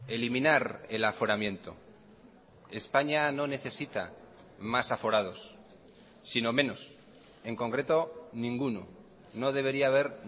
eliminar el aforamiento españa no necesita más aforados sino menos en concreto ninguno no debería haber